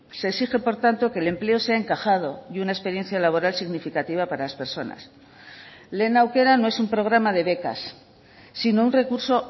se exige por tanto que el empleo se ha encajado y una experiencia laboral significativa para las personas lehen aukera no es un programa de becas sino un recurso